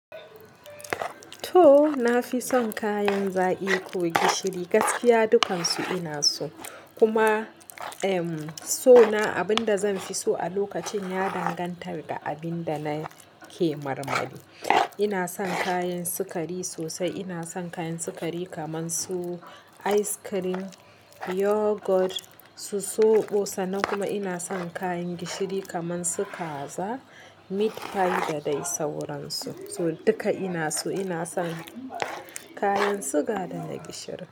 To, na fi son kayan zaƙi ko gishiri. Gaskiya dukansu ina so. Kuma, em, so na, abin da zanfi so a lokacin ya dangantar da abin da nake marmari. Ina son kayan sukari sosai. Ina son kayan sukari kamar su ice cream, yogurt, su soɓo sanan. Kuma ina son kayan gishiri kamar su kaza, meat pie da dai sauransu. So duka ina so Ina son kayan siga da na gishiri.